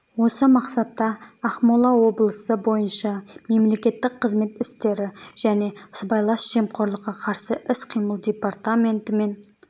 осы мақсатта ақмола облысы бойынша мемлекеттік қызмет істері және сыбайлас жемқорлыққа қарсы іс-қимыл департаменті мен